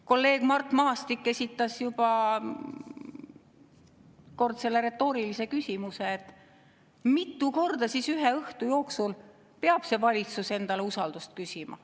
Kolleeg Mart Maastik korra juba esitas retoorilise küsimuse, et mitu korda ühe õhtu jooksul see valitsus siis peab endale usaldust küsima.